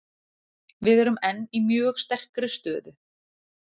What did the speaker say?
Við erum enn í mjög sterkri stöðu.